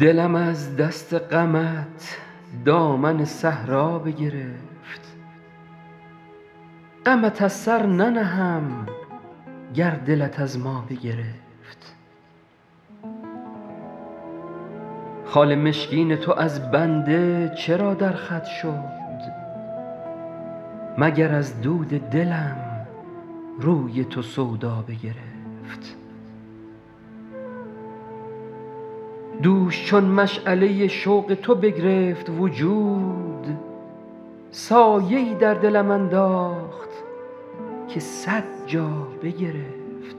دلم از دست غمت دامن صحرا بگرفت غمت از سر ننهم گر دلت از ما بگرفت خال مشکین تو از بنده چرا در خط شد مگر از دود دلم روی تو سودا بگرفت دوش چون مشعله شوق تو بگرفت وجود سایه ای در دلم انداخت که صد جا بگرفت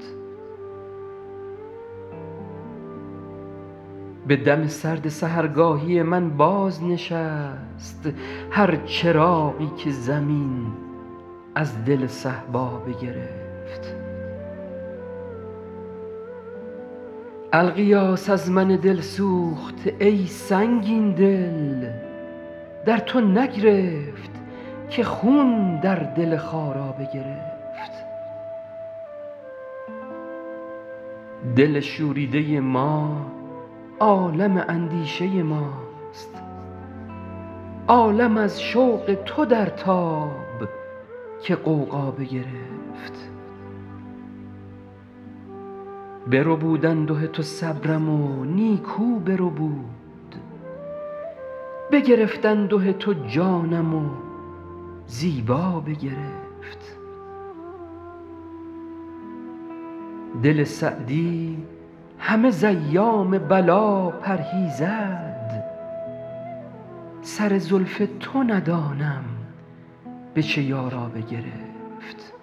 به دم سرد سحرگاهی من بازنشست هر چراغی که زمین از دل صهبا بگرفت الغیاث از من دل سوخته ای سنگین دل در تو نگرفت که خون در دل خارا بگرفت دل شوریده ما عالم اندیشه ماست عالم از شوق تو در تاب که غوغا بگرفت بربود انده تو صبرم و نیکو بربود بگرفت انده تو جانم و زیبا بگرفت دل سعدی همه ز ایام بلا پرهیزد سر زلف تو ندانم به چه یارا بگرفت